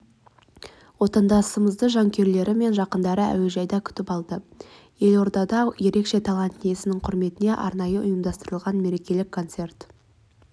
отандасымызды жанкүйерлері мен жақындары әуежайдан күтіп алды елордада ерекше талант иесінің құрметіне арнайы ұйымдастырылған мерекелік концерт